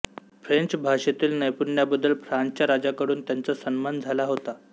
French भाषेतील नैपुण्याबद्दल फ्रान्सच्या राजाकडून त्यांचा सन्मान झाला होता